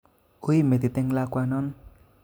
Ui metit eng lakwanon